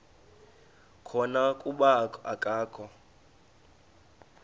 khona kuba akakho